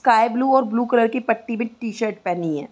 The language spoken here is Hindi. स्काईब्लू और ब्लू कलर की पट्टी भी टी-शर्ट पहनी है।